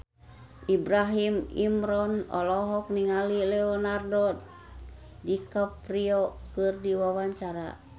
Ibrahim Imran olohok ningali Leonardo DiCaprio keur diwawancara